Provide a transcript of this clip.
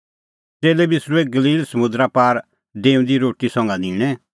च़ेल्लै बिसरूऐ गलील समुंदरा पार डेऊंदी रोटी संघा निंणै